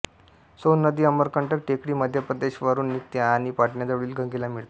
सोन नदी अमरकंटक टेकडी मध्य प्रदेश वरून निघते आणि पाटण्याजवळील गंगेला मिळते